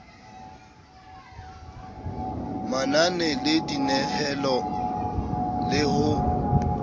manane le dinehelano le ho